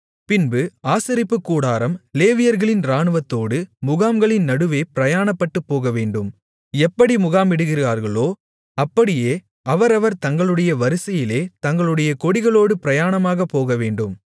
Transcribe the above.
பின்பு ஆசரிப்புக் கூடாரம் லேவியர்களின் இராணுவத்தோடு முகாம்களின் நடுவே பிரயாணப்பட்டுப் போகவேண்டும் எப்படி முகாமிடுகிறார்களோ அப்படியே அவரவர் தங்களுடைய வரிசையிலே தங்களுடைய கொடிகளோடு பிரயாணமாகப் போகவேண்டும்